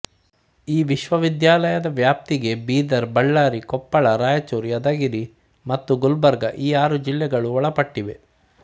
ಈ ವಿಶ್ವವಿದ್ಯಾಲಯದ ವ್ಯಾಪ್ತಿಗೆ ಬೀದರ್ ಬಳ್ಳಾರಿ ಕೊಪ್ಪಳ ರಾಯಚೂರು ಯಾದಗಿರಿ ಮತ್ತು ಗುಲ್ಬರ್ಗ ಈ ಆರು ಜಿಲ್ಲೆಗಳು ಒಳಪಟ್ಟಿವೆ